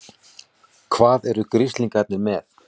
HVAÐ ERU GRISLINGARNIR MEÐ?